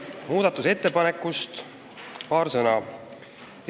Muudatusettepanekust paar sõna.